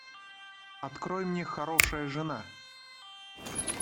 открой мне хорошая жена